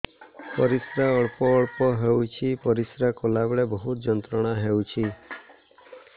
ପରିଶ୍ରା ଅଳ୍ପ ଅଳ୍ପ ହେଉଛି ପରିଶ୍ରା କଲା ବେଳେ ବହୁତ ଯନ୍ତ୍ରଣା ହେଉଛି